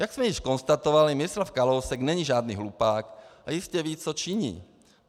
Jak jsme již konstatovali, Miroslav Kalousek není žádný hlupák a jistě ví, co činí.